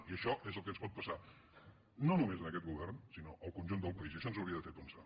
i això és el que ens pot passar no només a aquest govern sinó al conjunt del país i això ens hauria de fer pensar